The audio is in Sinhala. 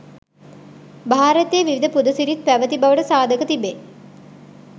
භාරතයේ විවිධ පුද සිරිත් පැවැති බවට සාධක තිබේ.